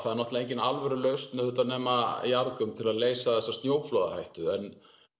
náttúrulega engin alvöru lausn nema jarðgöng til að leysa þessa snjóflóðahættu en